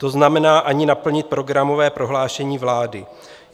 To znamená, ani naplnit programové prohlášení vlády.